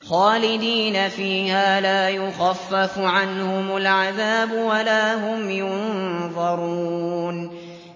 خَالِدِينَ فِيهَا لَا يُخَفَّفُ عَنْهُمُ الْعَذَابُ وَلَا هُمْ يُنظَرُونَ